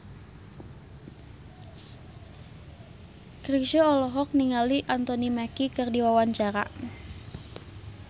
Chrisye olohok ningali Anthony Mackie keur diwawancara